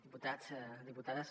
diputats diputades